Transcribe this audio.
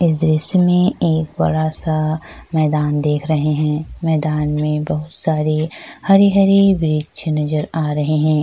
दृश्य मे एक बड़ा-सा मैदान देख रहे है मैदान मे बहुत सारे हरे-हरे वृक्ष नज़र आ रहे है।